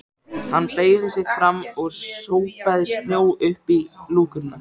Hann beygði sig fram og sópaði snjó upp í lúkurnar.